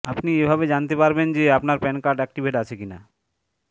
আপনি এভাবে জানতে পারবেন যে আপনার প্যান কার্ড অ্যাক্টিভেট আছে কিনা